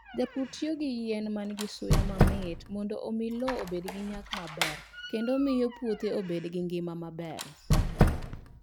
Jopur tiyo gi yien ma nigi suya mamit mondo omi lowo obed gi nyak maber kendo miyo puothe obed gi ngima maber.